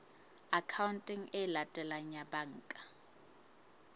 akhaonteng e latelang ya banka